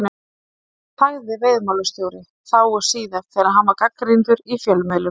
Af hverju þagði veiðimálastjóri, þá og síðar, þegar hann var gagnrýndur í fjölmiðlum?